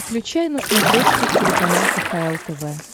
включай на смотрешке телеканал кхл тв